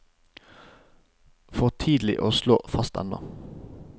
For tidlig å slå fast ennå.